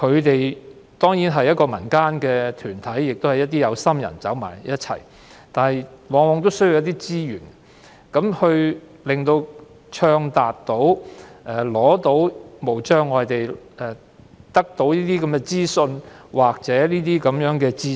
這些民間團體，由一眾有心人組成，它們往往需要足夠資源，才能暢達無障礙地取得資訊或知識。